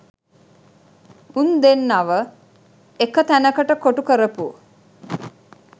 උන් දෙන්නව එක තැනකට කොටු කරපු